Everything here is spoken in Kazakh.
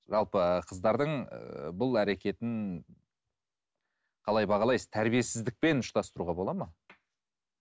жалпы қыздардың ы бұл әрекетін қалай бағалайсыз тәрбиесіздікпен ұштастыруға болады ма